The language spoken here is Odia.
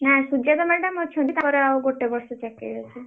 ନା ସୁଜାତା madam ଅଛନ୍ତି ତାଙ୍କର ଆଉ ଗୋଟେ ବର୍ଷ ଚାକିରି ଅଛି।